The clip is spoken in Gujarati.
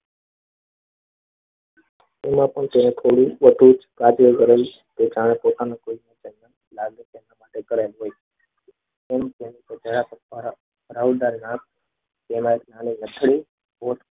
એમાં પણ તેણે કોઈ બધું જ કાજલ કરેલ છે કે જાણે પોતાનું તેમ તેમ જરાક ભરાવદાર તેમજ નાની નથણી